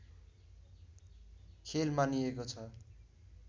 खेल मानिएको छ